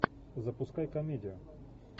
запускай комедию